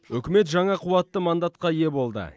үкімет жаңа қуатты мандатқа ие болды